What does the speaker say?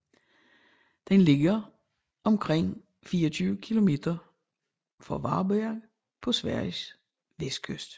Den ligger omkring 24 km øst for Varberg på Sveriges vestkyst